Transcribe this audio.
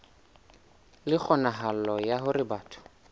le kgonahalo ya hore batho